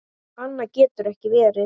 Annað getur ekki verið.